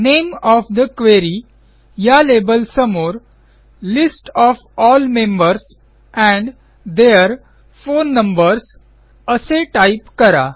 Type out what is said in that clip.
name of the query या लेबलसमोर list of all members and their phone numbers असे type करा